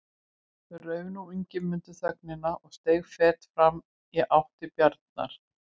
Rauf nú Ingimundur þögnina og steig fet fram í átt til Bjarnar.